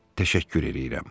Təşəkkür eləyirəm.